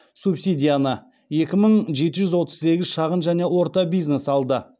субсидияны екі мың жеті жүз отыз сегіз шағын және орта бизнес алды